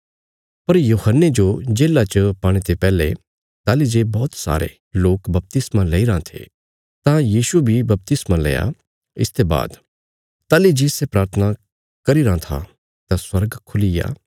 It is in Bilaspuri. पर यूहन्ने जो जेल्ला च पाणे ते पैहले ताहली जे बौहत सारे लोक बपतिस्मा लैईराँ थे तां यीशुये बी बपतिस्मा लैया इसते बाद ताहली जे सै प्राथना करी रां था तां स्वर्ग खुलीग्या